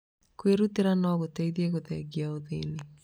Kwĩrutĩra no gũteithie kũthengia ũthĩni.